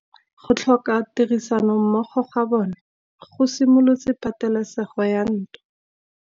Go tlhoka tirsanommogo ga bone go simolotse patêlêsêgô ya ntwa.